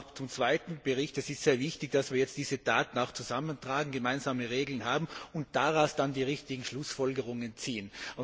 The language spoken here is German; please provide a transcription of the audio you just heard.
Darum auch zum zweiten Bericht Es ist sehr wichtig, dass wir jetzt diese Daten zusammentragen, gemeinsame Regeln haben und daraus dann die richtigen Schlussfolgerungen ziehen.